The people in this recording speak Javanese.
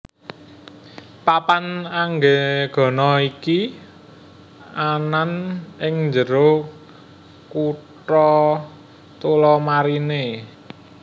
Papan Anggegana iki anan ing jero kota Tullamarine